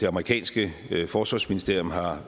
amerikanske forsvarsministerium har